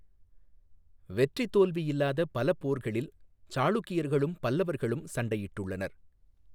வெற்றித் தோல்வி இல்லாத பல போர்களில் சாளுக்கியர்களும் பல்லவர்களும் சண்டையிட்டுள்ளனர்.